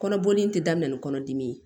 Kɔnɔboli in tɛ daminɛ ni kɔnɔdimi ye